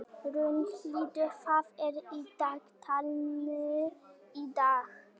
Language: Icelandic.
Rúnhildur, hvað er í dagatalinu í dag?